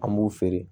An b'u feere